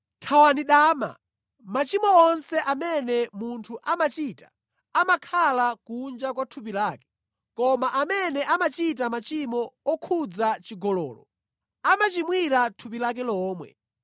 Thawani dama. Machimo onse amene munthu amachita amakhala kunja kwa thupi lake, koma amene amachita machimo okhudza chigololo, amachimwira thupi lake lomwe.